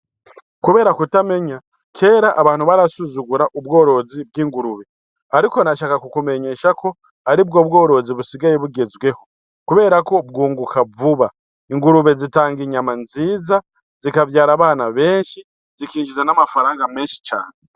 Kubera ku tamenya kera abantu barasuzugura ubworozi bw'ingurube ariko nashaka ku kumesha ko aribwo bworozi busigaye bugezweho ku berako bw'unguka vuba, Ingurube zitanga inyama nziza z'ikavyara abana beshi z'ikinjiza n'amafaranga menshi cane.